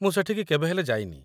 ମୁଁ ସେଠିକି କେବେ ହେଲେ ଯାଇନି ।